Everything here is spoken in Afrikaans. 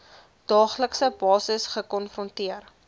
daaglikse basis gekonfronteer